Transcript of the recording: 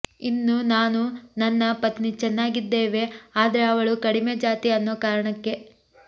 ಇನ್ನು ನಾನು ನನ್ನ ಪತ್ನಿ ಚನ್ನಾಗಿದ್ದೆವೆ ಆದ್ರೆ ಅವಳು ಕಡಿಮೆ ಜಾತಿ ಅನ್ನೋ ಕಾರಣಕ್ಕೆ